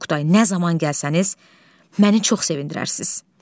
Oqtay, nə zaman gəlsəniz məni çox sevindirərsiniz.